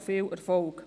Viel Erfolg!